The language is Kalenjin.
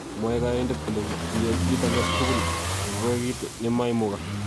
Mwaei konyoindet kole kiyai "kit age tugul , agoi kiit nemaimugak".